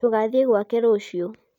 tũgathie gwake ruciũ